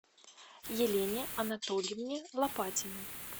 елене анатольевне лопатиной